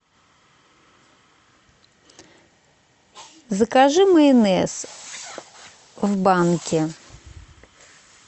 закажи майонез в банке